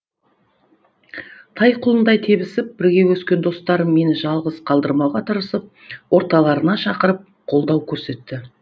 тай құлындай тебісіп бірге өскен достарым мені жалғыз қалдырмауға тырысып орталарына шақырып қолдау көрсетті